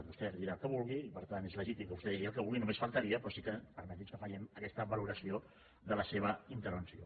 vostè dirà el que vulgui i per tant és legítim que vostè digui el que vulgui només faltaria però sí que permeti’ns que fem aquesta valoració de la seva intervenció